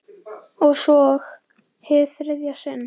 Og svo- hið þriðja sinn.